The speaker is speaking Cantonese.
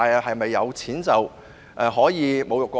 是否有錢便能侮辱國歌？